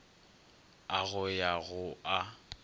a go ya go a